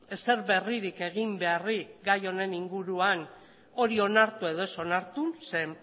ezer berririk egin beharrik gai honen inguruan hori onartu edo ez onartu zeren